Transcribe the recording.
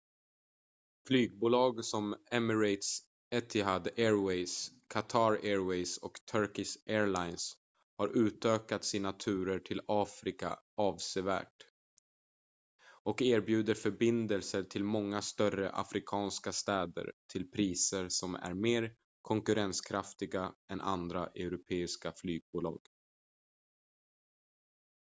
flygbolag som emirates etihad airways qatar airways och turkish airlines har utökat sina turer till afrika avsevärt och erbjuder förbindelser till många större afrikanska städer till priser som är mer konkurrenskraftiga än andra europeiska flygbolag